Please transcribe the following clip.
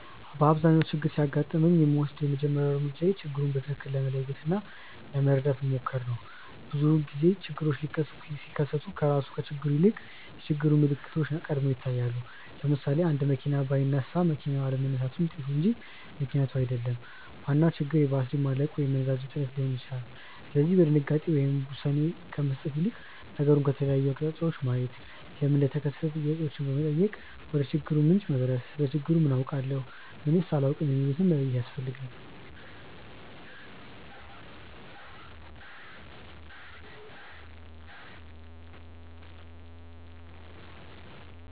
በአብዛኛው ችግር ሲያጋጥመኝ የምወስደው የመጀመሪያው እርምጃዬ ችግሩን በትክክል ለመለየት እና ለመረዳት መሞከር ነው። ብዙውን ጊዜ ችግሮች ሲከሰቱ ከራሱ ከችግሩ ይልቅ የችግሩ ምልክቶች ቀድመው ይታያሉ። ለምሳሌ፣ አንድ መኪና ባይነሳ መኪናው አለመነሳቱ ውጤቱ እንጂ ምክንያቱ አይደለም፤ ዋናው ችግር የባትሪ ማለቅ ወይም የነዳጅ እጥረት ሊሆን ይችላል። ስለዚህ በድንጋጤ ውሳኔ ከመስጠት ይልቅ ነገሩን ከተለያየ አቅጣጫ ማየት፣ ለምን እንደተከሰተ ጥያቄዎችን በመጠየቅ ወደችግሩ ምንጭ መድረስ፣ ስለ ችግሩ ምን አውቃለሁ? ምንስ አላውቅም? የሚሉትን መለየት ያስፈልጋል።